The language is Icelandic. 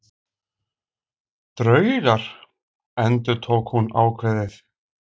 Draugar endurtók hún ákveðið.